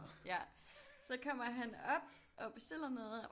Ja så kommer han op og bestiller noget